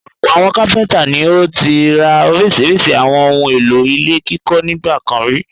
Ọ̀pọ̀ àwọn kápẹ́ńtà ni ó ti rà oríṣiríṣi àwọn ohun-èlò ilé kíkọ́ nígbà kan rí.